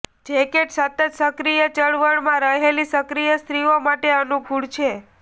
jacket સતત સક્રિય ચળવળમાં રહેલી સક્રિય સ્ત્રીઓ માટે અનુકૂળ છે